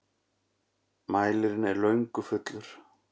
Mælirinn er löngu fullur.